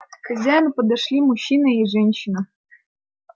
к хозяину подошли мужчина и женщина